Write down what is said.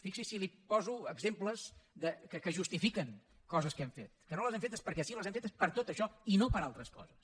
fixi’s si li poso exemples que justifiquen coses que hem fet que no les hem fetes perquè sí les hem fetes per tot això i no per altres coses